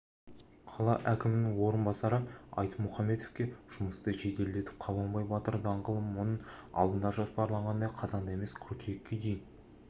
қала әкімінің орынбасары айтмұхаметовке жұмысты жеделдетіп қабанбай батыр даңғылын мұның алдында жоспарланғандай қазанда емес қыркүйекке дейін